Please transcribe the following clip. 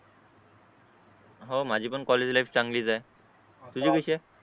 हो माझी पण कॉलेज लायिफ चांगलीच हे तुझी कशी हे